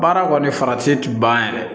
Baara kɔni farati ti ban yɛrɛ